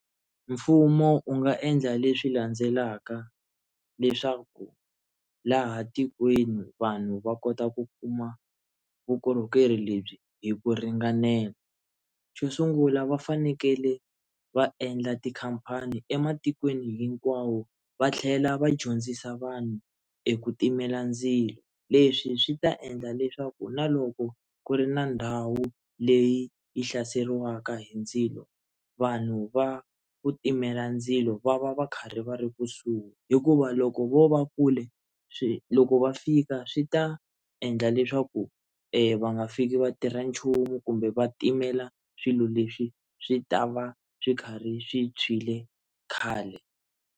Mfumo u nga endla leswi landzelaka leswaku laha tikweni vanhu va kota ku kuma vukorhokeri lebyi hi ku ringanela xo sungula va fanekele va endla tikhampani ematikweni hinkwawo va tlhela va dyondzisa vanhu eku timela ndzilo leswi swi ta endla leswaku na loko ku ri na ndhawu leyi yi hlaseriwaka hi ndzilo vanhu va ku timela ndzilo va va va karhi va ri kusuhi hikuva loko vo va kule swi loko va fika swi ta endla leswaku va nga fiki vatirha nchumu kumbe va timela swilo leswi swi ta va swi karhi swi tshwile khale.